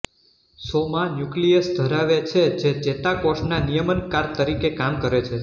સોમા nucleus ધરાવે છે જે ચેતાકોષના નિયમનકાર તરીકે કામ કરે છે